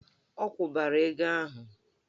Ọ kwụbara ego ahụ!